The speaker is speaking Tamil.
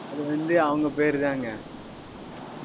அது வந்து, அவங்க பேர்தாங்க.